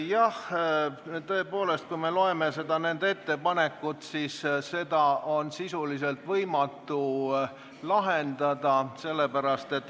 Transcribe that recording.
Jah, tõepoolest, kui me loeme nende ettepanekut, siis on selge, et seda on sisuliselt võimatu lahendada.